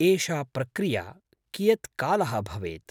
एषा प्रक्रिया कियत् कालः भवेत्?